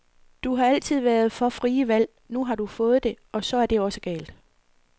Du har altid været for frie valg, nu har du fået det, og så er det også galt.